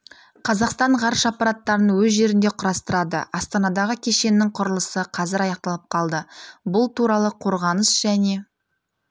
қазақстан ғарыш аппараттарын өз жерінде құрастырады астанадағы кешеннің құрлысы қазір аяқталып қалды бұл туралы қорғаныс және